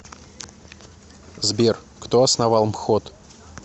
сбер кто основал мхот